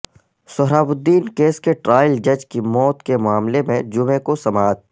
سہراب الدین case کے trial جج کی موت کے معاملہ میں جمعہ کو سماعت